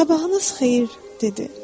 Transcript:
Sabahınız xeyir, dedi.